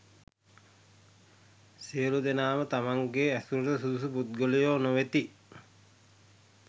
සියලු දෙනාම තමන්ගේ ඇසුරට සුදුසු පුද්ගලයෝ නොවෙති.